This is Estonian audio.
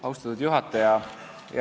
Austatud juhataja!